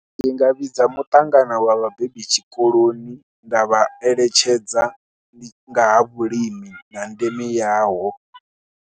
Ndi nga vhidza muṱangano wa vhabebi tshikoloni nda vha eletshedza nga ha vhulimi na ndeme yaho.